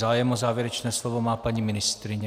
Zájem o závěrečné slovo má paní ministryně.